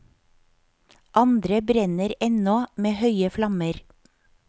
Andre brenner ennå med høye flammer.